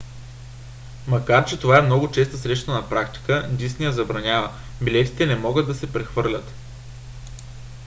макар че това е много често срещана практика дисни я забранява: билетите не могат да се прехвърлят